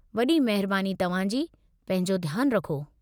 वॾी महिरबानि तव्हां जी। पंहिंजो ध्यानु रखो।